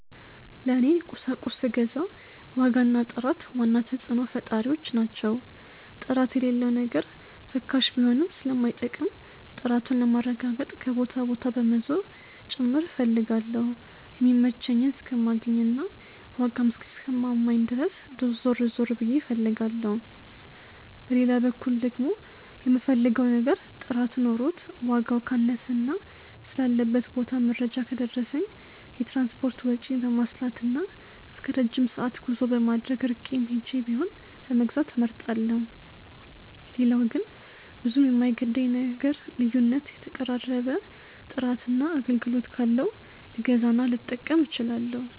ለኔ ቁሳቁስ ስገዛ ዋጋ እና ጥራት ዋና ተጽዕኖ ፈጣሪዎች ናቸው። ጥራት የሌለው ነገር ርካሽ ቢሆንም ስለማይጠቅም፣ ጥራቱን ለማረጋገጥ ከቦታ ቦታ በመዞር ጭምር እፈልጋለሁ የሚመቸኝን እስከማገኝ እና ዋጋም እስኪስማማኝ ድረስ ዞር ዞር ብዬ ፈልጋለሁ። በሌላ በኩል ደግሞ፣ የምፈልገው ነገር ጥራት ኖሮት ዋጋው ካነሰና ስላለበት ቦታ መረጃ ከደረሰኝ፣ የትራንስፖርት ወጪን በማስላትና እስከረጅም ሰዓት ጉዞ በማድረግ ርቄም ሄጄ ቢሆን ለመግዛት እመርጣለሁ። ሌላው ግን ብዙም የማይገደኝ ነገር ልዩነት ነው የተቀራረበ ጥራትና አገልግሎት ካለው ልገዛና ልጠቀም እችላለሁ።